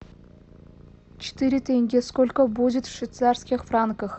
четыре тенге сколько будет в швейцарских франках